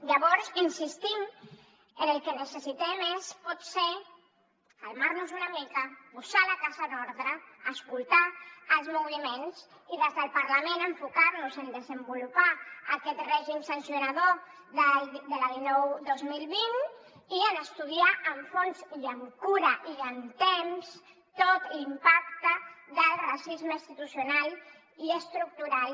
llavors insistim que el que necessitem és potser calmar nos una mica posar la casa en ordre escoltar els moviments i des del parlament enfocar nos en desenvolupar aquest règim sancionador de la dinou dos mil vint i en estudiar amb fons i amb cura i amb temps tot l’impacte del racisme institucional i estructural